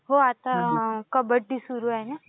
हो आता कबड्डी सुरु आहे